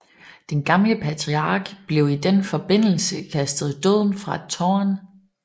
Den gamle patriark blev i den forbindelse kastet i døden fra et tårn